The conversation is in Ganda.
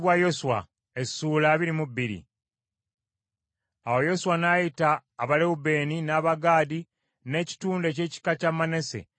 Awo Yoswa n’ayita Abalewubeeni n’Abagaadi n’ekitundu eky’ekika kya Manase,